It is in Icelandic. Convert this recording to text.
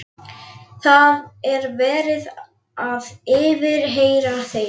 Það er verið að yfirheyra þau.